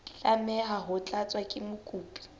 tlameha ho tlatswa ke mokopi